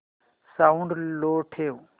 sound low ठेव